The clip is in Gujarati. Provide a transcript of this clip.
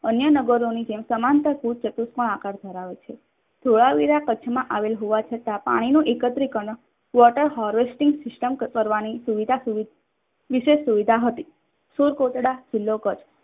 અન્ય નાગરોની જેમ સમાંતર આકાર પણ ધરાવે છે. ધોળાવીરા કાચમાં આવેલ હોવા છતાં પણ પાણીનું એકત્રીકરણ વિશે સુવિધા હતી. સુર કોટડા જિલ્લો કચ્છ